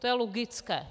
To je logické.